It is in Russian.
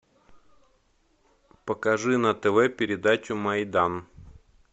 покажи на тв передачу майдан